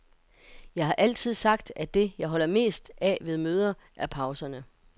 Jeg har altid sagt, at det, jeg holder mest af ved møder, er pauserne.